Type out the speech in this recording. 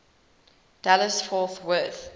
dallas fort worth